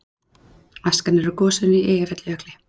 Askan er úr gosinu í Eyjafjallajökli